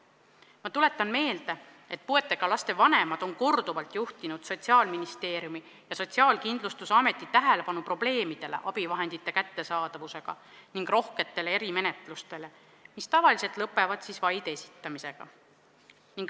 Ma tuletan meelde, et puudega laste vanemad on korduvalt juhtinud Sotsiaalministeeriumi ja Sotsiaalkindlustusameti tähelepanu probleemidele abivahendite kättesaadavusega ning rohketele erimenetlustele, mis tavaliselt lõpevad vaide esitamisega.